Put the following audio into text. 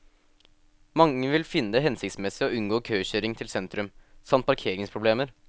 Mange ville finne det hensiktsmessig å unngå køkjøring til sentrum, samt parkeringsproblemer.